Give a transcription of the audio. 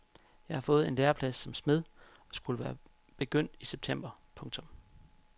Jeg havde fået en læreplads som smed og skulle være begyndt i september. punktum